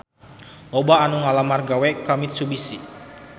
Loba anu ngalamar gawe ka Mitsubishi